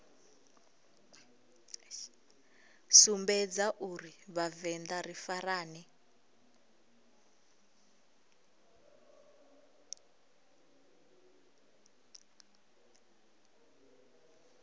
sumbedza uri vhavenḓa ri farane